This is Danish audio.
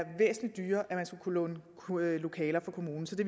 væsentlig dyrere at låne lokaler fra kommunen så